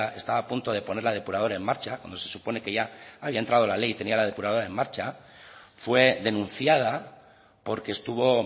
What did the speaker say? estaba a punto de poner la depuradora en marcha cuando se supone que ya había entrado la ley y tenía la depuradora en marcha fue denunciada porque estuvo